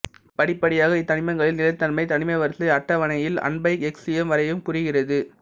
படிப்படியாக இத்தனிமங்களின் நிலைத்தன்மை தனிமவரிசை அட்டவனையில் அன்பையெக்சியம் வரைக்கும் குறைகிறது